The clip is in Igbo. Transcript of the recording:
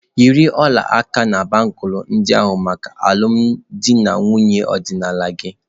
Yiri ọla aka na bangulu ndị ahụ maka alụmdi na nwunye ọdịnala gị!.